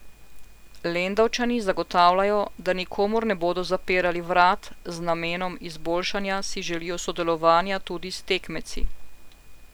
Lendavčani zagotavljajo, da nikomur ne bodo zapirali vrat, z namenom izboljšanja si želijo sodelovanja tudi s tekmeci.